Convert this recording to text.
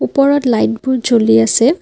ওপৰত লাইট বোৰ জ্বলি আছে।